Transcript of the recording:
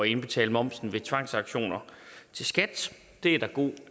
indbetale momsen ved tvangsauktioner til skat det er der god